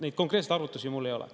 Neid konkreetseid arvutusi mul ei ole.